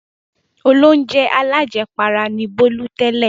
Olóunjẹ alájẹpara ni Bólú tẹ́lẹ̀.